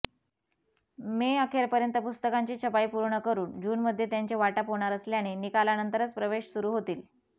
मे अखेरपर्यंत पुस्तिकांची छपाई पूर्ण करून जूनमध्ये त्यांचे वाटप होणार असल्याने निकालानंतरच प्रवेश सुरू होतील